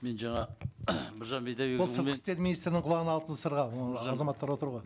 мен жаңа біржан бидайбекұлымен ол сыртқы істер министрінің құлағына алтын сырға оның азаматтары отыр ғой